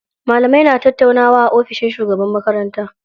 Malamai na tattaunawa a ofishin shugaban makaranta.